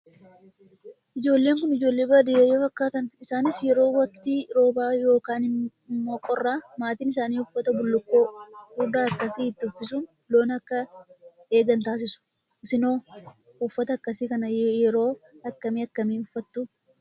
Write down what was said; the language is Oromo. Ijoolleen Kun, ijoollee baadiyyaa yoo fakkaatan, isaanis yeroo waktii roobaa yookaan immoo qorraa maatiin isaanii uffata bulukkoo furdaa akkasii itti uffisuun loon akka akka eegan taasisu. Isin hoo uffata akkasii kana yeroo akkamii akkamii uffattuu?